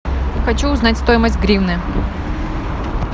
хочу узнать стоимость гривны